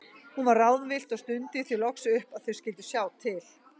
Hún var ráðvillt og stundi því loks upp að þau skyldu sjá til.